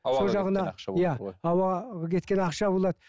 ауаға кеткен ақша болады